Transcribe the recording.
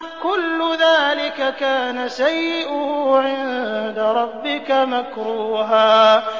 كُلُّ ذَٰلِكَ كَانَ سَيِّئُهُ عِندَ رَبِّكَ مَكْرُوهًا